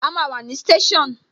A máa wà ní station